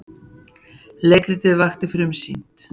Leikritið Vakt frumsýnt